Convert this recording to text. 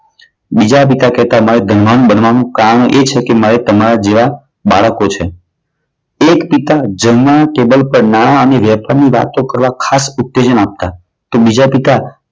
બીજા પિતા કહેતા કે મારે ધનવાન બનવાનું કારણ એ છે કે મારે તમારા જેવા બાળકો છે. એક પિતા જમવાના ટેબલ પર નાણા અને વેપારની વાતો કરવા ખાસ ઉત્તેજના આપતા. તો બીજા પિતા